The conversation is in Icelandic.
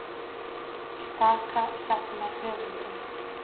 Staka safnar höfundum